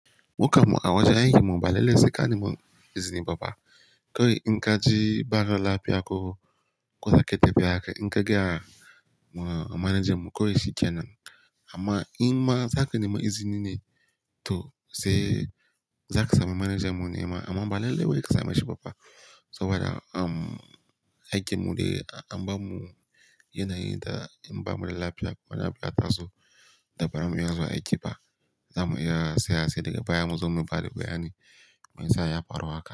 Mukam mu a wajen aikin mu ba lalle sai ka neman izini ba fa. Kawai in kaje barala ko koza kayi tafiya haka in ka gaya managanmu kawai shi kenan. Amma in ma za ka nema izini ne to sai za ka sami manager mu nema amma ba lalle wai ka same shi ba fa saboda am aikinmu dai an ba mu yanayi da in ba mu da lafiya ba lafiya ta zo da bayan mu ya zuwa aiki ba za mu iya saya sai daga baya mu zo mu ba da bayani me yasa ya faru haka.